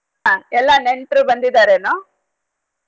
ಆಹ್ ಎಲ್ಲ ನೆಂಟ್ರ ಬಂದಿದಾರೆನೊ?